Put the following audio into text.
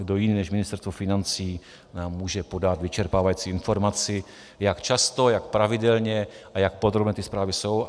Kdo jiný, než Ministerstvo financí nám může podat vyčerpávající informaci, jak často, jak pravidelně a jak podrobné ty zprávy jsou.